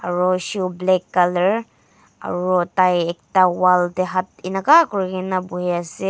aru shoe black colour aru tai ekta wall teh hath enka kuri ke na bohi ase.